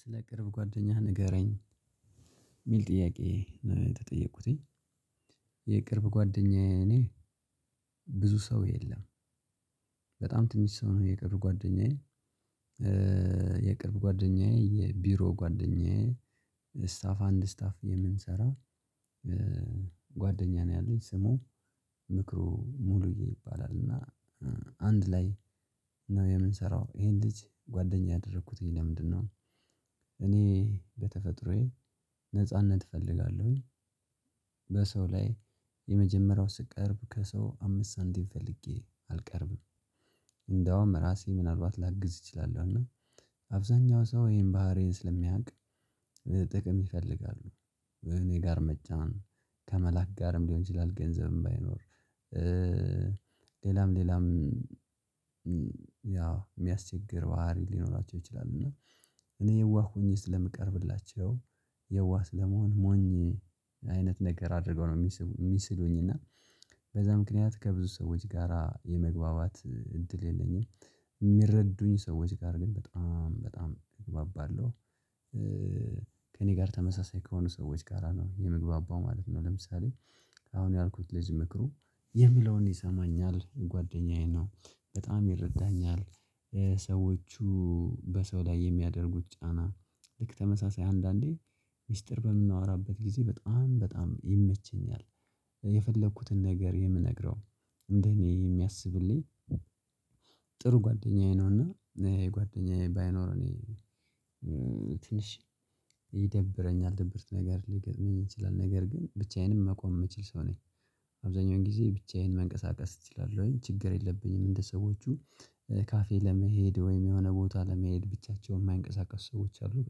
ስለ ቅርብ ጓደኛህ ንገረኝ? የሚል ጥያቄ የተጠየቁትኝ ጓደኛዬ እኔ ብዙ ሰው የለም። በጣም ትንሽ ሰው ነው የቅርብ ጓደኛዬ። የቅርብ ጓደኛዬ የቢሮ ጓደኛዬ ስታፍ አንድ ስታፍ የምንሰራ። ጓደኛ ነው ያለኝ ስሙ ምክሩ ሙሉዬ ይባላል። እና አንድ ላይ ነው የምንሰራው ይሄን ልጅ ጓደኛ ያደረኩትኝ ለምንድነው እኔ በተፈጥሮዬ ነጻነት እፈልጋለሁኝ። በሰው ላይ የመጀመሪያው ስቀርብ ከሰው አምስት ሳንቲም ፈልጌ አልቀርብም። እንደውም ራሴ ምናልባት ላግዝ እችላለሁ። እና አብዛኛው ሰው ይሄን ባህሪዬን ስለሚያውቅ ጥቅም ይፈልጋሉ። እኔ ጋር መጫን ከመላክ ጋርም ሊሆን ይችላል ገንዘብም ባይኖር። ሌላም ሌላም ያው የሚያስቸግር ባህሪ ሊኖራቸው ይችላል። እና እኔ የዋህ ሆኜ ስለምቀርብላቸው የዋህ ስለመሆን ሞኝ አይነት ነገር አድርገው ነው የሚስሉኝ። እና በዛ ምክንያት ከብዙ ሰዎች ጋራ የመግባባት እድል የለኝም። የሚረዱኝ ሰዎች ጋር ግን በጣም በጣም እግባባለሁ። ከእኔ ጋር ተመሳሳይ ከሆኑ ጋራ ነው የምግባባው ማለት ነው። ለምሳሌ አሁን ያልኩት ልጅ ምክሩ የሚለውን ይሰማኛል ጓደኛዬ ነው በጣም ይረዳኛል። ሰዎቹ በሰው ላይ የሚያደርጉት ጫና ልክ ተመሳሳይ አንዳንዴ ሚስጥር በምናወራበት ጊዜ በጣም በጣም ይመቸኛል። ነገር የምነግረው እንደ እኔ የሚያስብልኝ ጥሩ ጓደኛዬ ነውና። ጓደኛዬ ባይኖር እኔ ትንሽ ይደብረኛል ድብርት ነገር ሊገጥመኝ ይችላል። ነገር ግን ብቻዬንም መቆም የምችል ሰው ነኝ። አብዛኛውን ጊዜ ብቻዬን መንቀሳቀስ ትችላለህ ችግር የለብኝም። እንደ ሰዎቹ ካፌ ለመሄድ ወይም የሆነ ቦታ ለመሄድ ብቻቸውን የማይንቀሳቀስ ሰዎች አይደሉም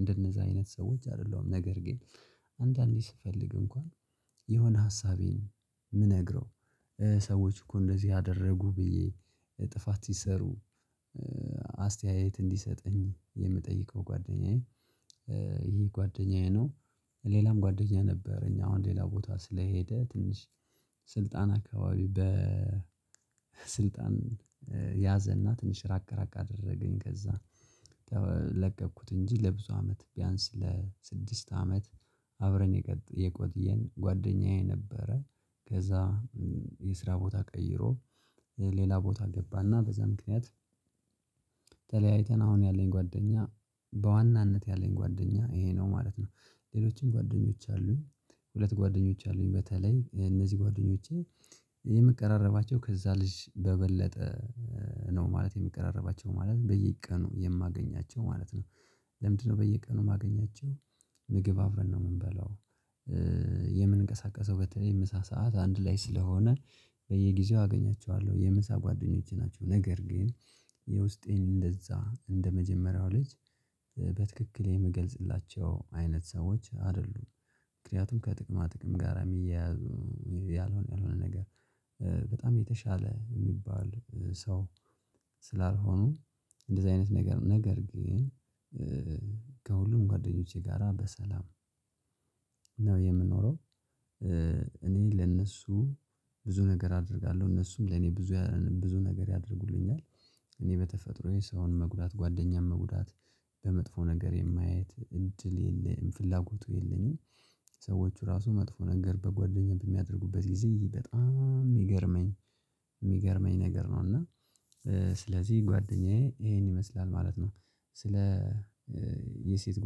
እንደነዛ አይነት ሰዎች አይደሉም። ነገር ግን አንዳንዴ ስፈልግ እንኳን የሆነ ሀሳቤን የምነግረው ሰዎች እኮ እንደዚህ አደረጉ ብዬ ጥፋት ሲሰሩ አስተያየት እንዲሰጠኝ የምጠይቀው ጓደኛዬ። ይሄ ጓደኛዬ ነው። ሌላም ጓደኛ ነበረኝ አሁን ሌላ ቦታ ስለሄደ ትንሽ ስልጣን አካባቢ በ ያዘና ትንሽ ራቅ ራቅ አደረገኝ ከዛ ለቀኩት እንጂ ለብዙ አመት ቢያንስ ለስድስት አመት። አብረን የቆጥየን ጓደኛዬ ነበረ ከዛ የስራ ቦታ ቀይሮ ሌላ ቦታ ገባና በዛ ምክንያት አሁን ያለኝ ጓደኛ በዋናነት ያለኝ ጓደኛ ይሄ ነው ማለት ነው። ሌሎችን ጓደኞች አሉኝ ሁለት ጓደኞች አሉኝ በተለይ እነዚህ ጓደኞቼ። የመቀራረባቸው ከዛ ልጅ በበለጠ ነው ማለት የሚቀራረባቸው ማለት በየቀኑ የማገኛቸው ማለት ነው። ለምንድነው በየቀኑ ማገኛቸው? ምግብ አብረን ነው የምንበላው የምንቀሳቀሰው በተለይ ምሳ ሰዓት አንድ ላይ ስለሆነ በየጊዜው አገኛቸዋለሁ የምሳ ጓደኞቼ ናቸው። ነገር ግን የውስጤን እንደዛ እንደመጀመሪያው ልጅ በትክክል የምገልጽላቸው አይነት ሰዎች አይደሉም። ምክንያቱም ከጥቅማ ጥቅም ጋራ የሚያያዙ ያልሆነ ያልሆነ ነገር በጣም የተሻለ የሚባል ሰው ስላልሆኑ። እንደዚህ አይነት ነገር ነገር ግን ከሁሉም ጓደኞቼ ጋራ በሰላም ነው የምንኖረው። እኔ ለእነሱ ብዙ ነገር አደርጋለሁ እነሱም ለእኔ ብዙ ብዙ ነገር ያደርጉልኛል። እኔ በተፈጥሮዬ ሰውን መጉዳት ጓደኛም መጉዳት በመጥፎ ነገር የማየት እድል የለኝም ፍላጎቱ የለኝም። ሰዎች ራሱ መጥፎ ነገር በጓደኛ በሚያደርጉበት ጊዜ በጣም የሚገርመኝ የሚገርመኝ ነገር ነው። እና ስለዚህ ጓደኛዬ ይሄን ይመስላል ማለት ነው። ስለ የሴት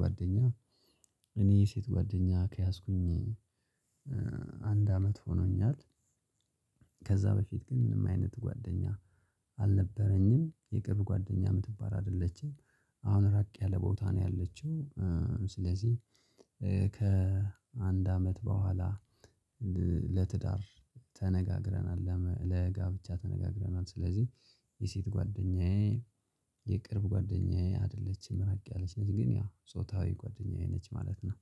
ጓደኛ እኔ የሴት ጓደኛ ከያዝኩኝ አንድ አመት ሆኖኛል። ከዛ በፊት ግን ምንም አይነት ጓደኛ አልነበረኝም። የቅርብ ጓደኛ የምትባል አይደለችም አሁን ራቅ ያለ ቦታ ነው ያለችው። ስለዚህ ከአንድ አመት በኋላ ለትዳር ተነጋግረናል ለጋብቻ ተነጋግረናል። ስለዚህ የሴት ጓደኛዬ የቅርብ ጓደኛዬ አይደለችም ራቅ ያለች ነች ግን ያው ጓደኛዬ ነች ማለት ነው።